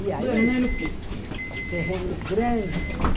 E aí, terrenos grandes.